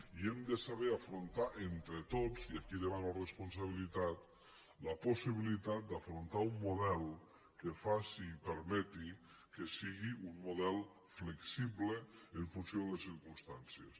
i hem de saber afrontar entre tots i aquí demano responsa·bilitat la possibilitat d’afrontar un model que faci i permeti que sigui un model flexible en funció de les circumstàncies